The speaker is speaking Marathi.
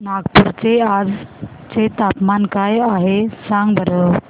नागपूर चे आज चे तापमान काय आहे सांगा बरं